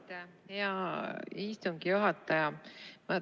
Aitäh, hea istungi juhataja!